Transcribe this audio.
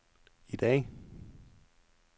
i dag